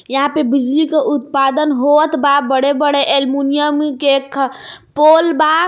यहां पे बिजली के उत्पादन होअत बा बड़े बड़े एलमुनियम के ख पोल बा.